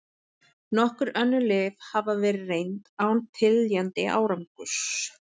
Nokkur önnur lyf hafa verið reynd án teljandi árangurs.